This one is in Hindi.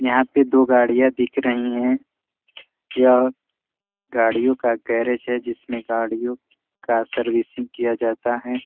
यहाँ पे दो गाड़ियाँ दिख रही हैं यह गाड़ियों का गैरेज है जिसमे गाड़ियों का सर्विसिंग किया जाता है ।